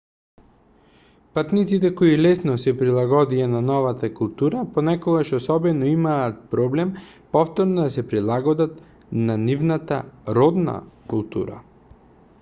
патниците кои лесно се прилагодија на новата култура понекогаш особено имаат проблем повторно да се прилагодат на нивната родна култура